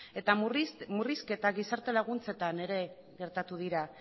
eta murrizketak gizarte laguntzetan ere gertatu dira